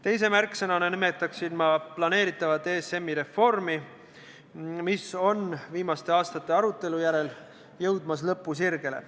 Teise märksõnana nimetaksin ma planeeritavat ESM-i reformi, mis on viimaste aastate arutelu järel jõudmas lõpusirgele.